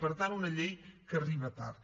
per tant una llei que arriba tard